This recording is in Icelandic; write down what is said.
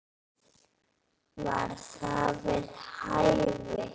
Var það við hæfi?